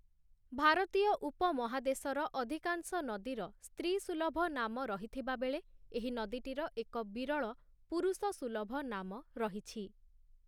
ଭାରତୀୟ ଉପମହାଦେଶର ଅଧିକାଂଶ ନଦୀର ସ୍ତ୍ରୀସୁଲଭ ନାମ ରହିଥିବା ବେଳେ, ଏହି ନଦୀଟିର ଏକ ବିରଳ ପୁରୁଷସୁଲଭ ନାମ ରହିଛି ।